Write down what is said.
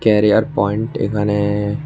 career point এখানে--